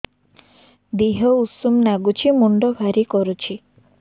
ଦିହ ଉଷୁମ ନାଗୁଚି ମୁଣ୍ଡ ଭାରି କରୁଚି